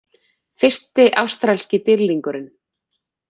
Fyrsti ástralski dýrlingurinn